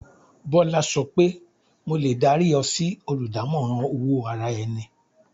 Bọ́lá sọ pé "mo lè dárí ọ sí oludamoran owó ara-ẹni."